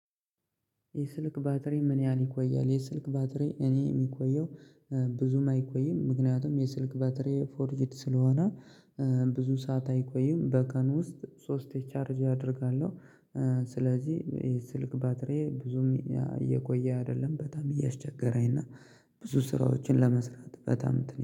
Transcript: የስልክ ባትሪ ምን ያህል ይቆያል? የስልክ ባትሪ እኔ የሚቆየው ብዙም አይቆይም ምክንያቱም የስልክ ባትሬ ፎርጅድ ስለሆነ ብዙ ሰዓት አይቆይም በቀን ውስጥ ሶስቴ ቻርጅ አደርጋለሁ። ስለዚህ የስልክ ባትሪዬ ብዙም እየቆየ አይደለም በጣም እያስቸገረኝ እና ብዙ ስራዎችን ለመስራት በጣም